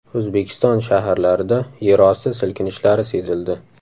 O‘zbekiston shaharlarida yerosti silkinishlari sezildi.